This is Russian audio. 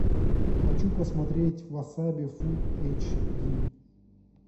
хочу посмотреть васаби фулл эйч ди